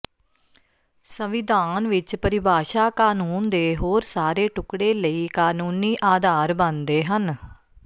ਸੰਵਿਧਾਨ ਵਿਚ ਪਰਿਭਾਸ਼ਾ ਕਾਨੂੰਨ ਦੇ ਹੋਰ ਸਾਰੇ ਟੁਕੜੇ ਲਈ ਕਾਨੂੰਨੀ ਆਧਾਰ ਬਣਦੇ ਹਨ